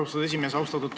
Austatud esimees!